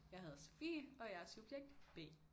Jeg hedder Sofie og jeg er subjekt B